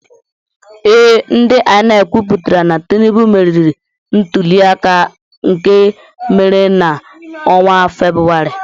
Ee, ndị INEC kwụpụtara na Tinubu meriri ntuli aka nke emere na-ọnwa Febrụwarị.